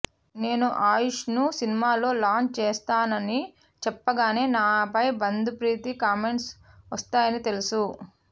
నేను ఆయుష్ను సినిమాల్లో లాంచ్ చేస్తున్నానని చెప్పగానే నాపై బంధుప్రీతి కామెంట్స్ వస్తాయని తెలుసు